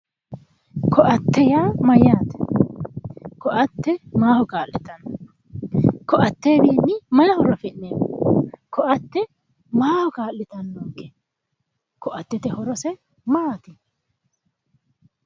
Koatte yaa mayate ,koatte maaho kaa'littano ,koattewinni maayi horo afi'neemmo ,koatte maaho kaa'littanonke ,koattete horose maati?